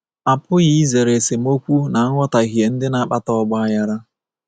A pụghị izere esemokwu na nghọtahie ndị na-akpata ọgbaghara.